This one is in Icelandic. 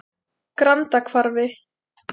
Grandahvarfi